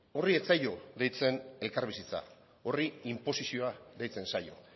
horri ez zaio deitzen elkarbizitza horri inposizioa deitzen zaio